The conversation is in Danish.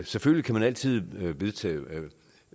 selvfølgelig kan man altid vedtage